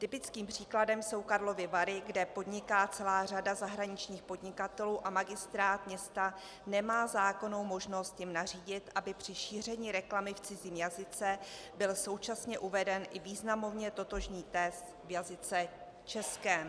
Typickým příkladem jsou Karlovy Vary, kde podniká celá řada zahraničních podnikatelů a magistrát města nemá zákonnou možnost jim nařídit, aby při šíření reklamy v cizím jazyce byl současně uveden i významově totožný text v jazyce českém.